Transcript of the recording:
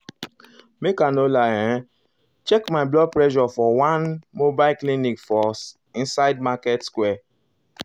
make i no lie um um i check my blood pressure for one um mobile clinic for inside market square. market square.